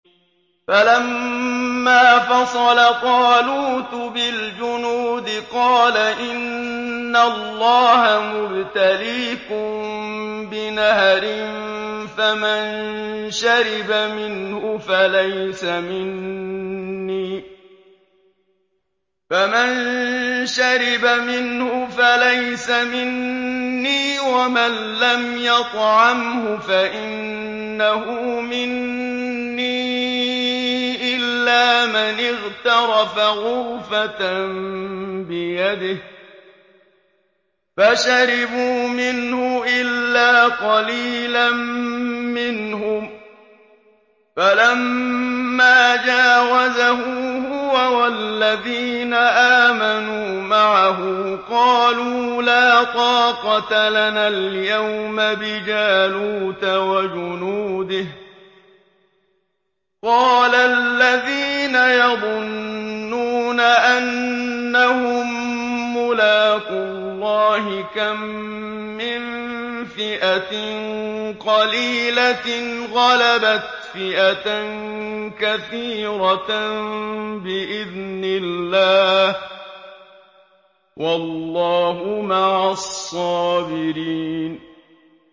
فَلَمَّا فَصَلَ طَالُوتُ بِالْجُنُودِ قَالَ إِنَّ اللَّهَ مُبْتَلِيكُم بِنَهَرٍ فَمَن شَرِبَ مِنْهُ فَلَيْسَ مِنِّي وَمَن لَّمْ يَطْعَمْهُ فَإِنَّهُ مِنِّي إِلَّا مَنِ اغْتَرَفَ غُرْفَةً بِيَدِهِ ۚ فَشَرِبُوا مِنْهُ إِلَّا قَلِيلًا مِّنْهُمْ ۚ فَلَمَّا جَاوَزَهُ هُوَ وَالَّذِينَ آمَنُوا مَعَهُ قَالُوا لَا طَاقَةَ لَنَا الْيَوْمَ بِجَالُوتَ وَجُنُودِهِ ۚ قَالَ الَّذِينَ يَظُنُّونَ أَنَّهُم مُّلَاقُو اللَّهِ كَم مِّن فِئَةٍ قَلِيلَةٍ غَلَبَتْ فِئَةً كَثِيرَةً بِإِذْنِ اللَّهِ ۗ وَاللَّهُ مَعَ الصَّابِرِينَ